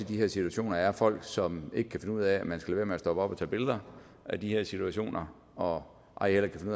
de her situationer er folk som ikke kan finde ud af at man skal lade være med at stoppe op og tage billeder af de her situationer og ej heller kan